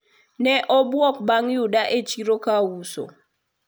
ne obwok bang yuda e chiro kauso